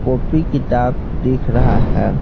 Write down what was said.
Copy किताब दिख रहा है।